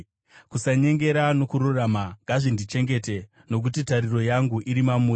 Kusanyengera nokururama ngazvindichengete, nokuti tariro yangu iri mamuri.